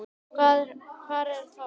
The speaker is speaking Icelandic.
Hvað er þá logri?